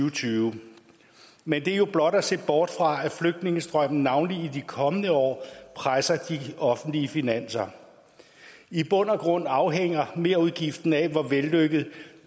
og tyve men det er jo blot at se bort fra at flygtningestrømmen navnlig i de kommende år presser de offentlige finanser i bund og grund afhænger merudgiften af hvor vellykket